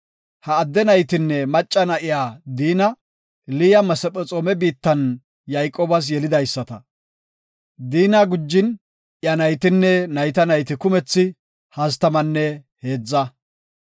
Ha adde naytinne macca na7iya Diina, Liya Masephexoome biittan Yayqoobas yelidaysata. Diina gujin iya naytinne nayta nayti kumethi hastamanne heedza.